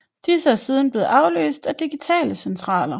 Disse er siden blevet afløst af digitale centraler